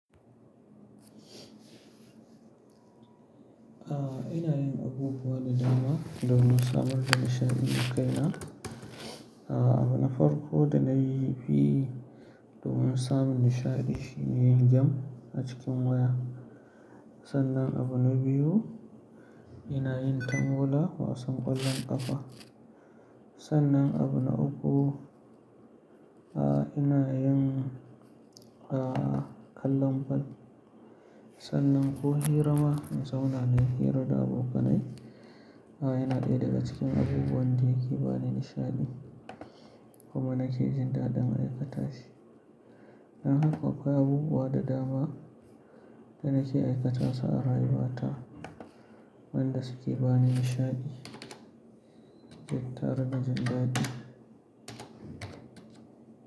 A'a ina yin abubuwa da dama domin samar da nishaɗi ga kaina. A'a abun na farko da nayi fi domin samun nishaɗi shine yin game a cikin waya. Sannan abu na biyu ina yin tangula, wasan ƙwallon ƙafa. Sannan abu na uku, a ina yin a kallon ball. Sannan ko hira ma na zauna nayi hira da abokanai. Yana ɗaya daga cikin abubuwan da yake bani nishaɗi kuma nake jin dadin aikata shi. Dan haƙa akwai abubuwa da dama da nake aikata su a rayuwa ta wanda suke bani nishaɗi da tara da jin daɗi.